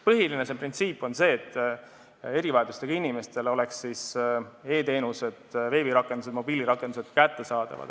Põhiline printsiip on see, et erivajadustega inimestele oleksid e-teenused, veebirakendused ja mobiilirakendused kättesaadavad.